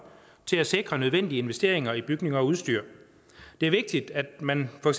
til at sikre nødvendige investeringer i bygninger og udstyr det er vigtigt at man for